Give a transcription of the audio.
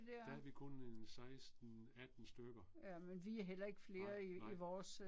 Der er vi kun en 16 18 stykker. Nej, nej